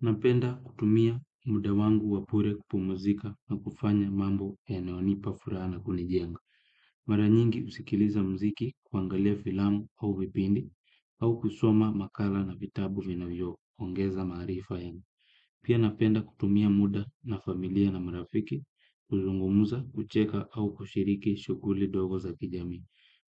Napenda kutumia muda wangu wa bure kupumzika na kufanya mambo yanayonipa furaha na kunijenga. Mara nyingi husikiliza muziki, kuangalia filamu au vipindi au kusoma makala na vitabu vinavyoongeza maarifa yangu. Pia napenda kutumia muda na familia na mrafiki, kuzungumza, kucheka au kushiriki shughuli ndogo za kijamii.